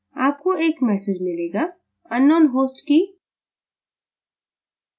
आपको एक message संदेश मिलेगाunknown host key